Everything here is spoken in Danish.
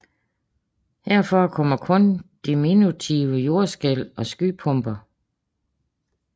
Her forekommer kun diminutive jordskælv og skypumper